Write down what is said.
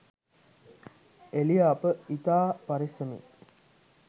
එළිය අප ඉතා පරෙස්සමෙන්